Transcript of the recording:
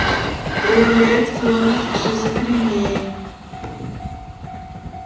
проявляет склонность к шизофрении